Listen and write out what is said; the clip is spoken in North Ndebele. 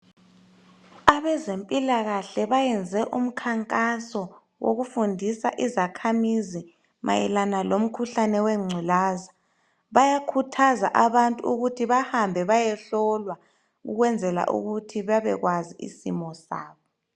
Abezempilakahle bayenze umkhankaso wokufundisa izakhamizi mayelana lomkhuhlane wengculaza bayakhuthaza abantu ukuthi bahambe bayehlolwa ukwenzela ukuthi babekwazi isimo sabo